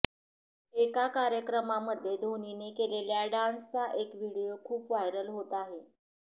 एका कार्यक्रमामध्ये धोनीने केलेल्या डान्सचा एक व्हिडिओ खूप व्हायरल होत आहे